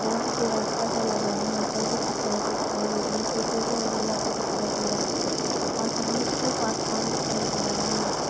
यहाँ पर जो रास्ता सा लगा है। यहाँ पर भी कुछ लाइटे दिखाई दे रही हैं। थोड़ी दूर में अँधेरा सा दिखाई दे रहा है और सामने की तरफ आसमान दिखाई दे रहा है यहाँ पर।